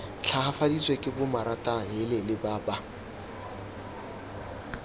tlhagafaditswe ke bomaratahelele ba ba